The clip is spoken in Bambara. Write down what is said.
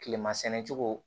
Kilema sɛnɛ cogo